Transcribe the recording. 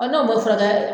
Ɔ n'o ma furakɛ